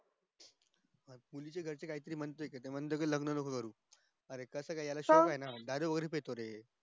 अरे तिच्या घरचे म्हणते लग्न नको करू अरे कास काय याला shock ये ना दारू वैगेरे पितो रे